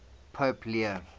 pope leo